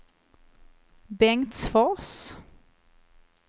Bengtsfors